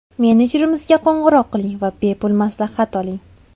Menejerimizga qo‘ng‘iroq qiling va bepul maslahat oling!